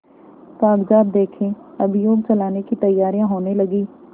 कागजात देखें अभियोग चलाने की तैयारियॉँ होने लगीं